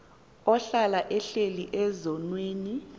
ohlala ehleli ezonweni